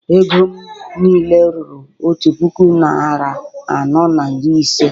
Ego m niile ruru otu puku naịra anọ na iri ise